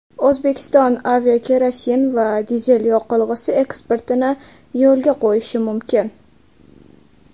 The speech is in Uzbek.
O‘zbekiston aviakerosin va dizel yoqilg‘isi eksportini yo‘lga qo‘yishi mumkin.